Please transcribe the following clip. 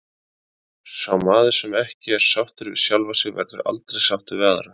Sá maður sem ekki er sáttur við sjálfan sig verður aldrei sáttur við aðra.